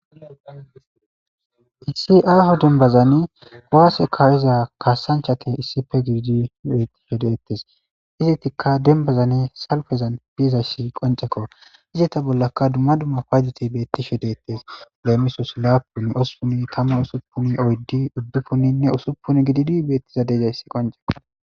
Issi aho dumbazani waase kaawiza kaassanchati issife girji beettishe dettes izetikka denbazani salfezan biizash qoncekko izita bollakka dumma dumma paydoti beettishe deettes leemisos laapun ossuni tamma usuppun oyddi uddipunninne usuppun gididi beettiza degayssi qoncekoo.